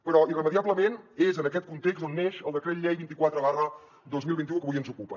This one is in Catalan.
però irremeiablement és en aquest context on neix el decret llei vint quatre dos mil vint u que avui ens ocupa